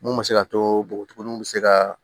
Mun bɛ se ka tobogotiginiw bɛ se ka